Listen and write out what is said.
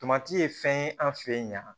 Tomati ye fɛn ye an fɛ yen ɲan